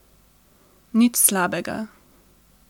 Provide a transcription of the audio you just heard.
Nič slabega.